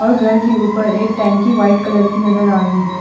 और घर के उपर एक टंकी वाइट कलर की नज़र आ रही है।